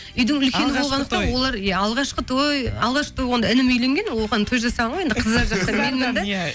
үйдің үлкені болғандықтан олар иә алғашқы той алғашқы той болғанда інім үйленген оған той жасалынған енді қыздар жақтан менмін де иә